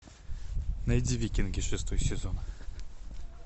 найди викинги шестой сезон